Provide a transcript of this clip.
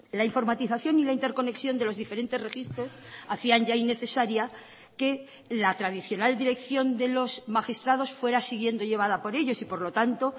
la informatización y la interconexión de los diferentes registros hacían ya innecesaria que la tradicionaldirección de los magistrados fuera siguiendo llevada por ellos y por lo tanto